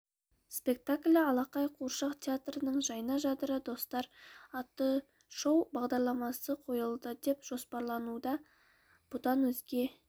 спектаклі алақай қуыршақ театрының жайна жадыра достар атты шоу бағдарламасы қойылады деп жоспарлануда бұдан өзге